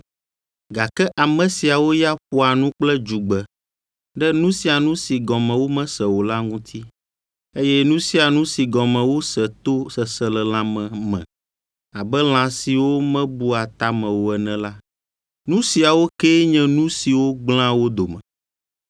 Gake ame siawo ya ƒoa nu kple dzugbe ɖe nu sia nu si gɔme womese o la ŋuti, eye nu sia nu si gɔme wose to seselelãme me abe lã siwo mebua ta me o ene la, nu siawo kee nye nu siwo gblẽa wo dome.